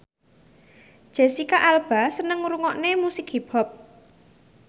Jesicca Alba seneng ngrungokne musik hip hop